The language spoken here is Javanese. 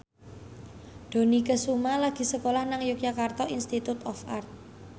Dony Kesuma lagi sekolah nang Yogyakarta Institute of Art